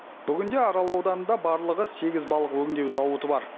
бүгінде арал ауданында барлығы сегіз балық өңдеу зауыты бар